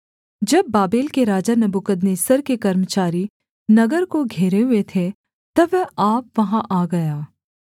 जब बाबेल के राजा नबूकदनेस्सर के कर्मचारी नगर को घेरे हुए थे तब वह आप वहाँ आ गया